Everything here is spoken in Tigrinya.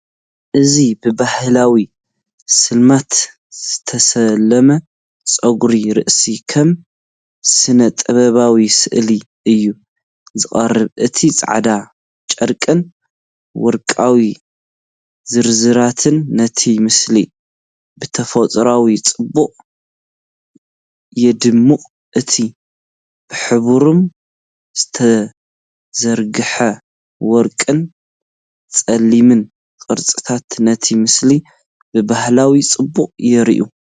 እዚ ብባህላዊ ስልማት ዝተሰለመ ጸጉሪ ርእሲ፡ ከም ስነ-ጥበባዊ ስእሊ እዩ ዝቐርብ። እቲ ጻዕዳ ጨርቅን ወርቃዊ ዝርዝራትን ነቲ ምስሊ ብተፈጥሮኣዊ ጽባቐ የድምቆ። እቲ ብሕብሮም ዝተዘርግሐ ወርቅን ጸሊምን ቅርጽታት፡ ነቲ ምስሊ ብባህላዊ ጽባቐ የርኢዎ።